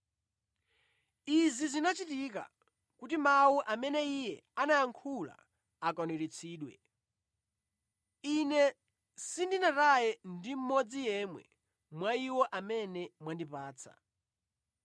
Izi zinachitika kuti mawu amene Iye anayankhula akwaniritsidwe: “Ine sindinataye ndi mmodzi yemwe mwa iwo amene mwandipatsa.”